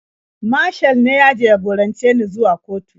Mashal ne ya jagorance ni zuwa kotu.